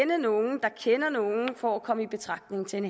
nogen der kender nogen for at komme i betragtning til en